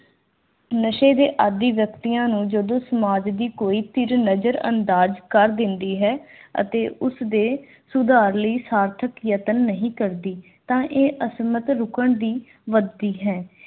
ਨਸ਼ੇ ਦੇ ਆਦੀ ਵਿਅਕਤੀਆਂ ਨੂੰ ਜਦੋਂ ਸਮਾਜ ਦੀ ਕੋਈ ਧਿਰ ਨਜ਼ਰ ਅੰਦਾਜ਼ ਕਰ ਦਿੰਦੀ ਹੈ ਅਤੇ ਉਸ ਦੇ ਸੁਧਾਰ ਲਈ ਸਾਰਥਕ ਯਤਨ ਨਹੀਂ ਕਰਦੀ ਇੱਕ ਤਾਂ ਇਹ ਅਸਮਤ ਰੁਕਣ ਦੀ ਵਧਦੀ ਹੈ